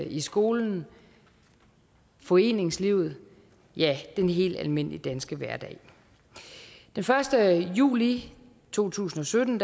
i skolen foreningslivet ja den helt almindelige danske hverdag den første juli to tusind og sytten